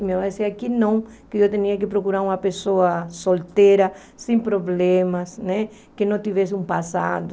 E eu dizia que não, que eu tinha que procurar uma pessoa solteira, sem problemas né, que não tivesse um passado.